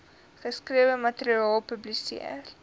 geskrewe materiaal publiseer